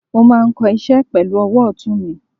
mo ma kò iṣẹ pelu owò otún mí